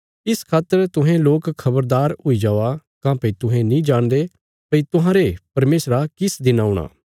इस खातर तुहें लोक खबरदार हुई जावा काँह्भई तुहें नीं जाणदे भई तुहांरे परमेशरा किस दिन औणा